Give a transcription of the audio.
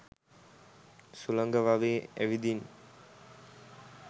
සුළඟ වගේ ඇවිදින්